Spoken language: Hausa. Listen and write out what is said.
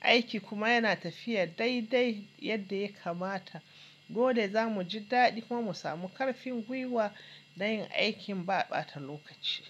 aiki kuma yana tafiya daidai yadda ya kamata, dole za mu ji daɗi kuma mu samu ƙarfin gwiwa na yin aikin ba ɓata lokaci.